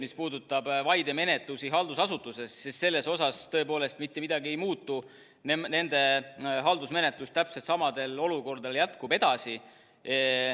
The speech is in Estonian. Mis puudutab vaidemenetlusi haldusasutuses, siis selles tõepoolest mitte midagi ei muutu, nende haldusmenetlus jätkub täpselt samamoodi.